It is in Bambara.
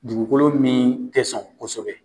Dugukolo min tɛ sɔn kosɛbɛ